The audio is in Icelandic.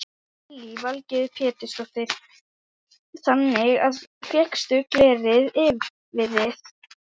Lillý Valgerður Pétursdóttir: Þannig að fékkstu glerið yfir þið?